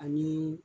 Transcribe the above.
Ani